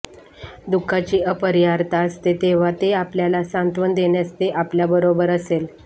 दुःखाची अपरिहार्यता असते तेव्हा ते आपल्याला सांत्वन देण्यास ते आपल्याबरोबर असेल